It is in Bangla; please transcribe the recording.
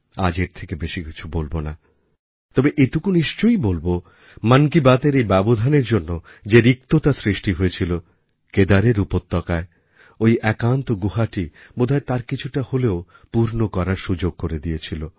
আজ এর থেকে বেশি কিছু বলব না তবে এটুকু নিশ্চয়ই বলব মন কি বাতএর এই ব্যবধানের জন্য যে রিক্ততা সৃষ্টি হয়েছিল কেদারের উপত্যকায় ঐ একান্ত গুহাটি বোধহয় তার কিছুটা হলেও পূর্ণ করার সুযোগ করে দিয়েছিল